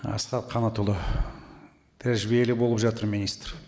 асхат қанатұлы тәжірибелі болып жатыр министр